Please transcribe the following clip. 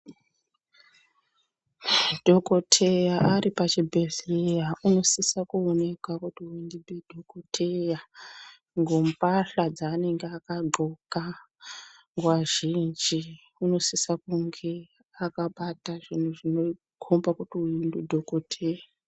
Dhokotheya aripachibhehleya unosisa kuoneka ngembahla dzaanenge akanxoka, nguwa zhinji unosisa kuoneka akabata zvinhu zvinokhomba kuti ndidhokotheya.